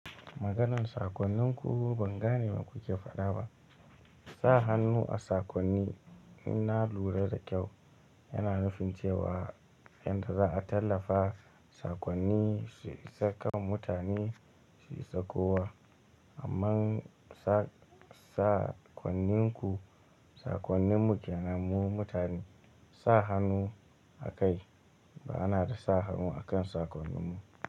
Maganin sakonninku ban gane me kuke faɗa ba. Sa hannu a sakonni in na lura da kyau, yana nufin cewa yanda za'a tallafa sakonni su isa kan mutane su isa kowa. Amman sakonninku, sakonni mu ke nan mu mutane, sa hannu a kai ba ana da sa hannu a kan sakonni mu.